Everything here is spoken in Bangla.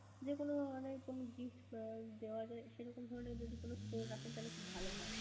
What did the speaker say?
যেকোন মানে কোন gift দেওয়া যায় সেরকম ধরণের যদি কোন store রাখেন তাহলে খুব ভালো হয়.